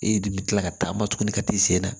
E de bɛ kila ka taama tuguni ka t'i sen na